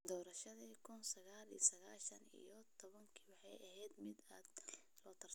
Doorashadii kuun sagal sagashan iyo todabo waxay ahayd mid aad loo tartamay.